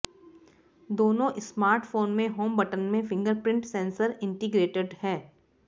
दोनों स्मार्टफोन में home button में फिंगरप्रिंट सेंसर इंटिग्रेटेड है